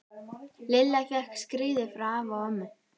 Lilla fékk skíði frá afa og ömmu.